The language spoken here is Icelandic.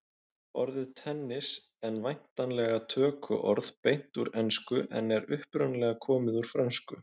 Orðið tennis en væntanlega tökuorð beint úr ensku en er upprunalega komið úr frönsku.